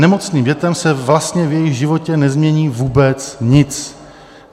Nemocným dětem se vlastně v jejich životě nezmění vůbec nic.